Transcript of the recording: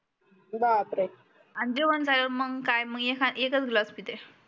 अन जेवण झाल्यावर मंग काय मग एकच ग्लास पेते